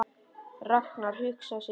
Ragnar hugsaði sig lengi um.